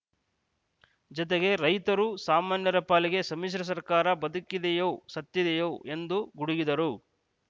ಜತೆಗೆ ರೈತರು ಸಾಮಾನ್ಯರ ಪಾಲಿಗೆ ಸಮ್ಮಿಶ್ರ ಸರ್ಕಾರ ಬದುಕಿದೆಯೋ ಸತ್ತಿದೆಯೋ ಎಂದು ಗುಡುಗಿದ್ದಾರೆ